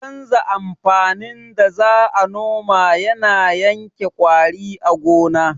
Canza amfanin da za a noma yana yanke ƙwari a gona